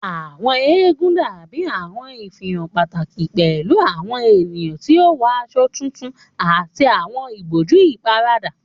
Àwọn eégún dabi awọn ifihan pataki pẹlu awọn eniyan ti o wọ aṣọ tutu ati awọn iboju iparada.